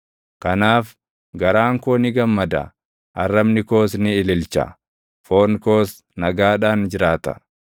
Kanaaf garaan koo ni gammada; arrabni koos ni ililcha; foon koos nagaadhaan jiraata;